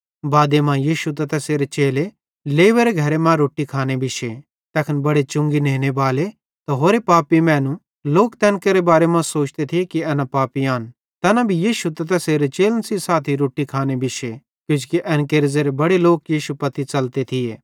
बादे मां यीशु त तैसेरे चेले लेवेरे घरे मां रोट्टी खाने बिश्शे तैखन बड़े चुंगी नेनेबाले त होरे पापी मैनू लोक तैन केरे बारे मां सोचते थिये कि एना पापिन भी यीशु त तैसेरे चेलन सेइं साथी रोट्टी खाने बिश्शे किजोकि एन केरे ज़ेरे बड़े लोक यीशु पत्ती च़लते थिये